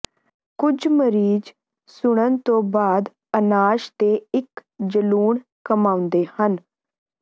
ਕੁਝ ਮਰੀਜ਼ ਸੁੰਨਣ ਤੋਂ ਬਾਅਦ ਅਨਾਸ਼ ਦੇ ਇੱਕ ਜਲੂਣ ਕਮਾਉਂਦੇ ਹਨ